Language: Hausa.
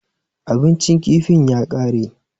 Abincin kifin ya ƙare.